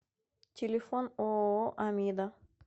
телефон ооо амида